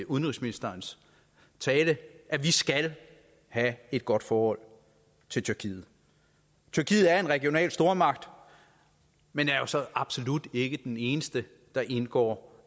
udenrigsministerens tale at vi skal have et godt forhold til tyrkiet tyrkiet er en regional stormagt men er jo så absolut ikke de eneste der indgår